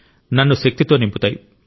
నన్ను శక్తితో నింపుతాయి